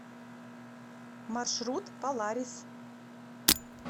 маршрут паларис